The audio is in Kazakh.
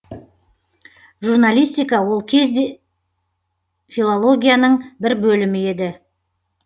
журналистика ол кезде филологияның бір бөлімі еді